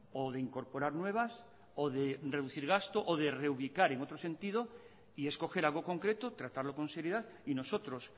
o de incorporar nuevas o de reducir gastos o de reubicar en otro sentido y es coger algo concreto tratarlo con seriedad y nosotros